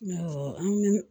an bɛ